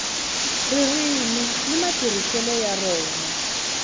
ririmi ni matirhiselo ya rona